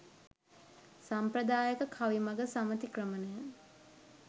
සම්ප්‍රදායික කවි මඟ සමතික්‍රමනය